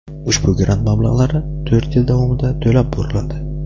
ushbu grant mablag‘lari to‘rt yil davomida to‘lab boriladi.